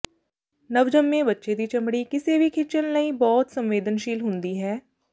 ਨਵਜੰਮੇ ਬੱਚੇ ਦੀ ਚਮੜੀ ਕਿਸੇ ਵੀ ਖਿਚਣ ਲਈ ਬਹੁਤ ਸੰਵੇਦਨਸ਼ੀਲ ਹੁੰਦੀ ਹੈ